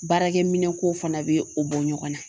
Baarakɛminɛnko fana be o bɔ ɲɔgɔn na